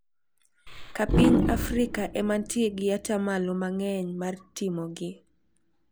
Ka piny Afrika ema nitie gi atamalo mang`eny mar timogi.